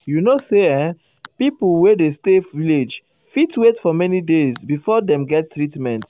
you know say erm pipo wey dey stay village fit wait for many days before dem get treatment.